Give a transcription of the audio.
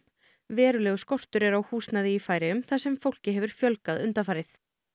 verulegur skortur er á húsnæði í Færeyjum þar sem fólki hefur fjölgað undanfarið